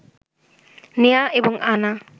নেয়া এবং আনা